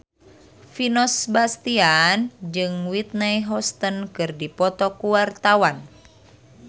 Vino Bastian jeung Whitney Houston keur dipoto ku wartawan